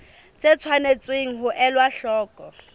tse tshwanetseng ho elwa hloko